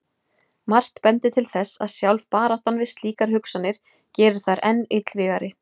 Margt bendir til þess að sjálf baráttan við slíkar hugsanir geri þær enn illvígari.